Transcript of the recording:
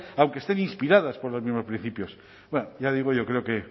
aunque estén inspiradas por los mismos principios ya digo yo creo que